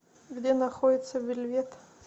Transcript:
где находится вельвет